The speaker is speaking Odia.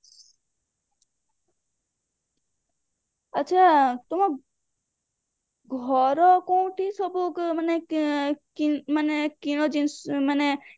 ଆଛା ତମ ଘର କୋଉଠି ସବୁ ମାନେ ମାନେ କିଣା ଜିନିଷ ଅଛି